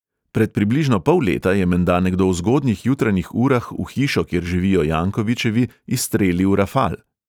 Pred približno pol leta je menda nekdo v zgodnjih jutranjih urah v hišo, kjer živijo jankovićevi, izstrelil rafal.